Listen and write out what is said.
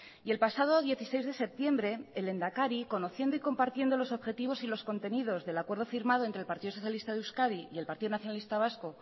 y el pasado dieciséis de septiembre el lehendakari conociendo y compartiendo los objetivos y los contenidos del acuerdo firmado entre el partido socialista de euskadi y el partido nacionalista vasco